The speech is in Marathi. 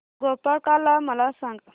गोपाळकाला मला सांग